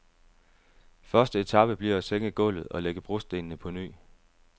Første etape bliver at sænke gulvet og lægge brostenene på ny.